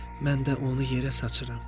Mən də onu yerə saçıram.